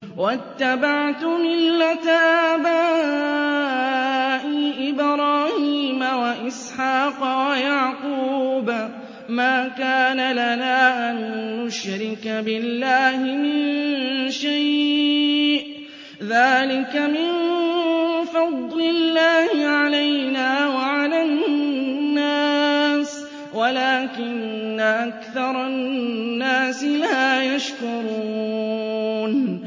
وَاتَّبَعْتُ مِلَّةَ آبَائِي إِبْرَاهِيمَ وَإِسْحَاقَ وَيَعْقُوبَ ۚ مَا كَانَ لَنَا أَن نُّشْرِكَ بِاللَّهِ مِن شَيْءٍ ۚ ذَٰلِكَ مِن فَضْلِ اللَّهِ عَلَيْنَا وَعَلَى النَّاسِ وَلَٰكِنَّ أَكْثَرَ النَّاسِ لَا يَشْكُرُونَ